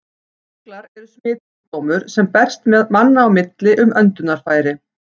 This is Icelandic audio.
Berklar eru smitsjúkdómur, sem berst manna á milli um öndunarfæri.